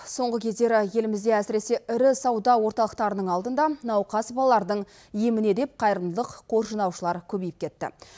соңғы кездері елімізде әсіресе ірі сауда орталықтарының алдында науқас балалардың еміне деп қайырымдылық қор жинаушылар көбейіп кетті